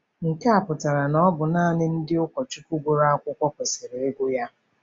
Nke a pụtara na ọ bụ nanị ndị ụkọchukwu gụrụ akwụkwọ kwesịrị ịgụ ya.